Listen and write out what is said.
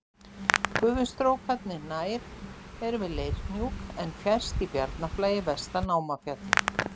Gufustrókarnir nær eru við Leirhnjúk en fjærst í Bjarnarflagi vestan í Námafjalli.